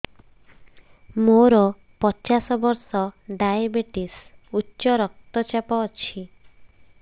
ମୋର ପଚାଶ ବର୍ଷ ଡାଏବେଟିସ ଉଚ୍ଚ ରକ୍ତ ଚାପ ଅଛି